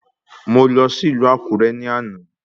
Mò lọ sí ìlú Àkúré ní àná